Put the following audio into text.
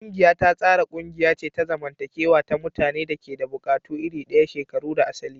Ƙungiya ta tsara ƙungiya ce ta zamantakewa ta mutanen da ke da buƙatu iri ɗaya, shekaru da asali.